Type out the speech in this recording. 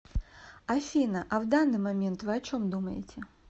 афина а в данный момент вы о чем думаете